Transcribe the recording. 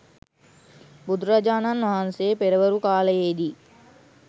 බුදුරජාණන් වහන්සේ පෙරවරු කාලයේ දී